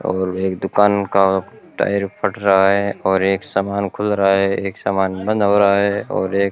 और एक दुकान का टायर फट रहा है और एक सामन खुल रहा है एक सामन बंद हो रहा है और एक --